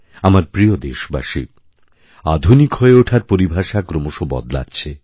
আমার প্রিয়দেশবাসী আধুনিক হয়ে ওঠার পরিভাষা ক্রমশ বদলাচ্ছে